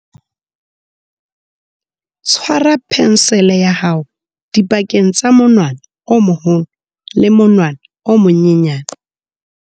Tshwara phensele ya hao dipakeng tsa monwana o moholo le monwana o monyenyane.